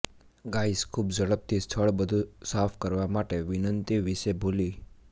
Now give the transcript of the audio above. guys ખૂબ ઝડપથી સ્થળ બધું સાફ કરવા માટે વિનંતી વિશે ભૂલી